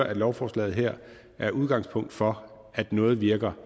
at lovforslaget her er udgangspunkt for at noget virker